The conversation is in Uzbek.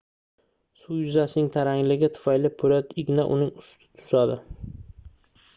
suv yuzasining tarangligi tufayli poʻlat igna uning ustida suzadi